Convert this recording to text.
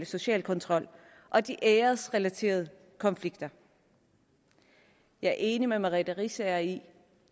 social kontrol og de æresrelaterede konflikter jeg er enig med fru merete riisager i at